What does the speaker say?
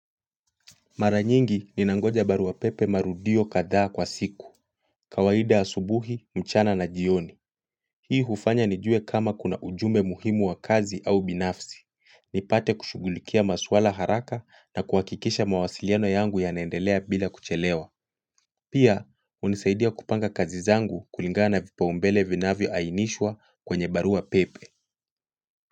Mara nyingi ninangoja barua pepe marudio kadhaa kwa siku. Kawaida asubuhi, mchana na jioni. Hii hufanya nijue kama kuna ujumbe muhimu wa kazi au binafsi. Nipate kushugulikia maswala haraka na kuhakikisha mawasiliano yangu yanaendelea bila kuchelewa. Pia, unisaidia kupanga kazi zangu kulingana vipaumbele vinavyoainishwa kwenye barua pepe.